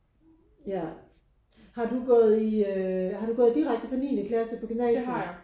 Ja har du gået i øh har du gået direkte fra niende klasse på gymnasiet?